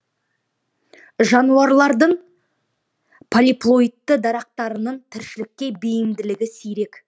жануарлардың полиплоидты дарақтарының тіршілікке бейімділігі сирек